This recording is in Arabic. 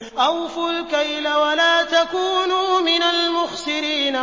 ۞ أَوْفُوا الْكَيْلَ وَلَا تَكُونُوا مِنَ الْمُخْسِرِينَ